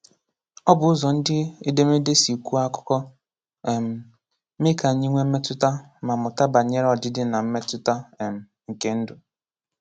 Ọ bụ ụzọ ndị edemede si kwuo akụkọ, um mee ka anyị nwee mmetụta, ma mụta banyere ọdịdị na mmetụta um nke ndụ.